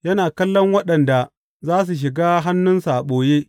Yana kallon waɗanda za su shiga hannunsa a ɓoye.